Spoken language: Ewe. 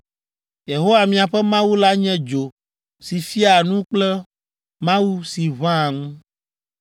Yehowa miaƒe Mawu la nye dzo si fiaa nu kple Mawu si ʋãa ŋu.